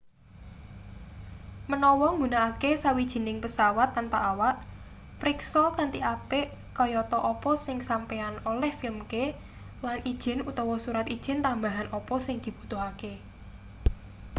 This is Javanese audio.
menawa nggunakake sawijining pesawat tanpa awak priksa kanthi apik kayata apa sing sampeyan oleh filmke lan ijin utawa surat ijin tambahan apa sing dibutuhake